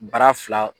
Bara fila